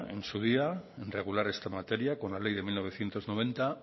en su día en regular esta materia con la ley de mil novecientos noventa